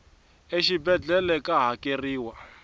exibedlhele ka hakeriwa